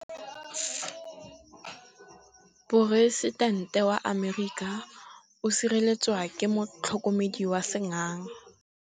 Poresitêntê wa Amerika o sireletswa ke motlhokomedi wa sengaga.